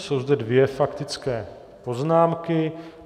Jsou zde dvě faktické poznámky.